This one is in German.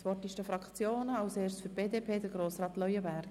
Das Wort haben die Fraktionen, zuerst Grossrat Leuenberger für die BDP.